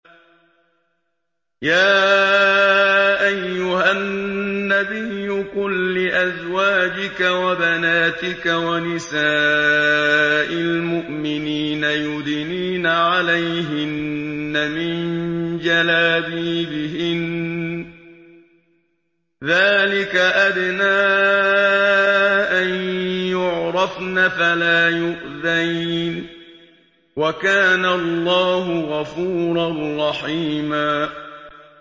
يَا أَيُّهَا النَّبِيُّ قُل لِّأَزْوَاجِكَ وَبَنَاتِكَ وَنِسَاءِ الْمُؤْمِنِينَ يُدْنِينَ عَلَيْهِنَّ مِن جَلَابِيبِهِنَّ ۚ ذَٰلِكَ أَدْنَىٰ أَن يُعْرَفْنَ فَلَا يُؤْذَيْنَ ۗ وَكَانَ اللَّهُ غَفُورًا رَّحِيمًا